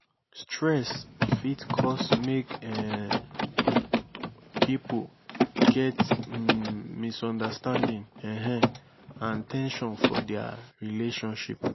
stress fit cause mek um pipo get um misunderstanding um and ten sion for dia relationship